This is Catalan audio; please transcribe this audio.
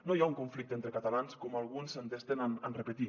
no hi ha un conflicte entre catalans com alguns s’entesten en repetir